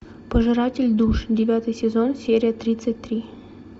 пожиратель душ девятый сезон серия тридцать три